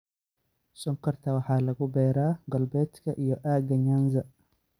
Sonkorta waxa lagu beeraa galbeedka iyo aaga Nyanza.